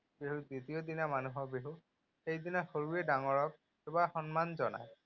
বিহুৰ দ্বিতীয় দিনা মানুহৰ বিহু। সেইদিনা সৰুৱে ডাঙৰক সেৱা সন্মান জনায়।